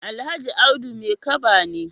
Alhaji Audu Maikaba ne.